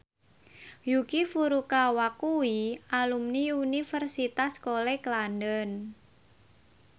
Yuki Furukawa kuwi alumni Universitas College London